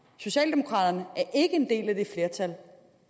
socialdemokraterne er ikke en del af det flertal